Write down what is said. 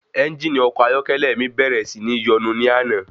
Ẹ́ngìnì ọkọ̀ ayọ́kẹ́lẹ́ mi bẹ̀rẹ̀ sí ní yọnu ní àná.